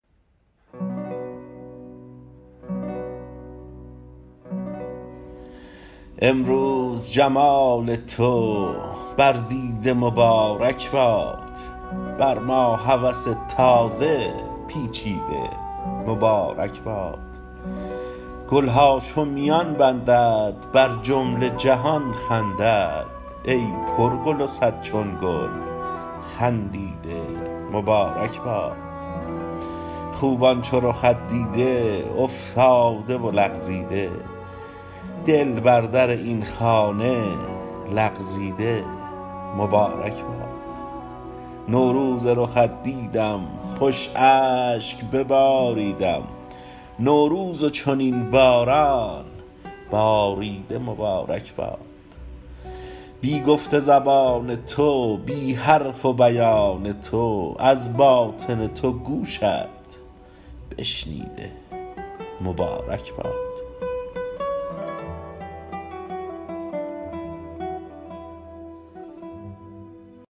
امروز جمال تو بر دیده مبارک باد بر ما هوس تازه پیچیده مبارک باد گل ها چون میان بندد بر جمله جهان خندد ای پرگل و صد چون گل خندیده مبارک باد خوبان چو رخت دیده افتاده و لغزیده دل بر در این خانه لغزیده مبارک باد نوروز رخت دیدم خوش اشک بباریدم نوروز و چنین باران باریده مبارک باد بی گفت زبان تو بی حرف و بیان تو از باطن تو گوشت بشنیده مبارک باد